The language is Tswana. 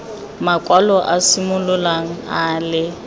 makwalo a simololang a le